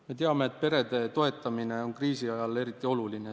Me teame, et perede toetamine on kriisi ajal väga oluline.